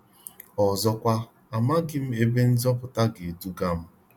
Ọzọkwa, amaghị m ebe nzọpụta ga edugam.